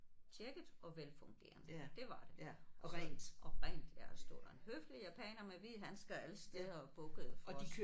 Tjekket og velfungerende det var det og rent ja og så stod der en høflig japaner med hvide handsker alle steder og bukkede for os